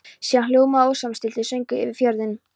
Síðan hljómaði ósamstilltur söngur yfir fjörðinn.